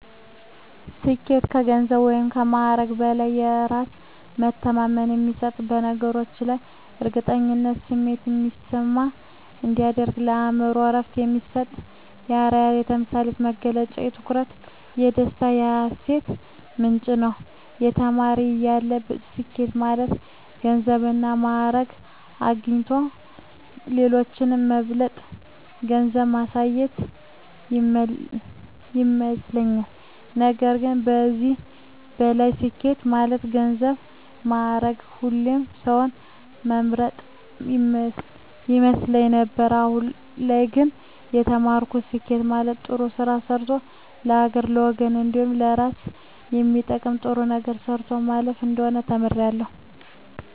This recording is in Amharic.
ስኬት ከገንዘብ ወይም ከማዕረግ በላይ በእራስ መተማመን የሚሰጥ በነገሮች ላይ የእርግጠኝነት ስሜት እንዲሰማ የሚያደርግ ለአእምሮ እረፍት የሚሰጥ የአረያነት የምሳሌነት መገለጫ የኩራት የደስታ የሀሴት ምንጭ ነዉ። ተማሪ እያለሁ ስኬት ማለት ገንዘብና ማእረግ አግኝቶ ሌሎችን መብለጥ ገንዘብ ማያዝ ይመስለኝ ነበር ከዚህም በላይ ስኬት ማለት ገንዘብ ማእረግ ሰዉን መብለጥ ይመስለኝ ነበር አሁን ላይ ግን የተማርኩት ስኬት ማለት ጥሩ ስራ ሰርቶ ለሀገርና ለወገን እንዲሁም ለእራስ የሚጠቅም ጥሩ ነገር ሰርቶ ማለፍ እንደሆነ ተምሬያለሁ።